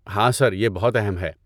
ہاں، سر۔ یہ بہت اہم ہے۔